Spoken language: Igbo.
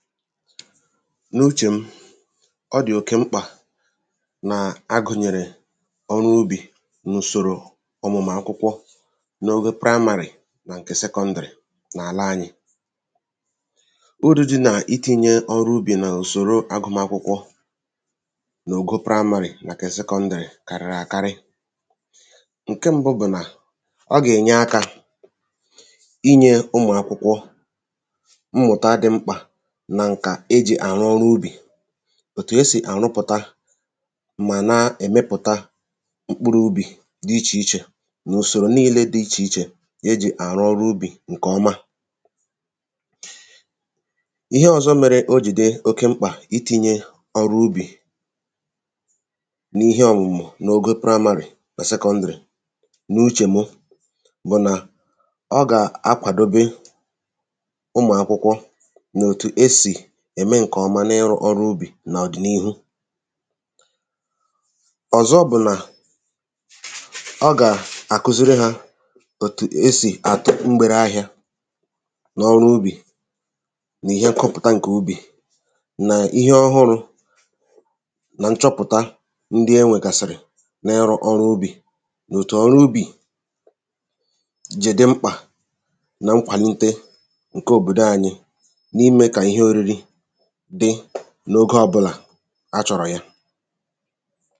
n’uchè m ọ dị̀ oke mkpà nà a gùnyèrè ọrụ ubì n’ùsòrò ọ̀mụ̀mụ̀mụ̀ ạkwụkwọ n’ógó praị́mārị̀ nà ṅ̀kè sekọndị̀rị̀ n’ala anyị urū dị́ nà itīnyē ọrụ ubì n’ùsòro àgụmakwụkwọ n’àlà anyị́̄ n’ogo praimāarị̀ nàkwà sekọ̄ndị̀ṛì kàrị̀rị àkarị ṅ̀ke mbụ bụ̀ nà ọ gà-ènye akā inyē ụmụ̀akwụkwọ mmụ̀ta dị̄ mkpà màkà ijī arụ ọrụ ubì òtù e sì àrụpụ̀ta mà na èmepụ̀ta mkpụrụ̄ ubì dị ichè ichè nà ùsòrò niilē dị̄ ichè ichè e jì àrụ ọrụ ubì ṅ̀kè ọma ihe ọ̀zọ mērē o jì dị oke mkpà itīnyē ọrụ ubì n’ihe ọ̀mụ̀mụ̀ n’ogo praịmārị̀ nà sekọndị̀rị̀ n’uchè mụ̀ bụ̀ nà ọ gà-akwàdobe ụmụ̀akwụkwọ n’òtù e si ̀ ème ṅ̀kè ọma n’ịrụ̄ ọrụ ubì n’ọ̀dị̀niihu ọ̀zọ bụ̀ nà a gà-àkuziri hā òtù e sì àtụ mgbere ahịā n’ọrụ ubì nà ihe ṅkọpụ̀ta ṅ̀kè ubì nà ihe ọhụrụ̄ nà nchọpụ̀ta ndị enwègàsị̀rị̀ n’ọrụ ọrụ ubì nà otù ọrụ ubì jì dị mkpà nọ ṅkwàlite ṅ̀ke òbòdo anyị n’ime ka ihē oriri dị n’ogē ọbụ̄là a chọ̀rọ̀ ya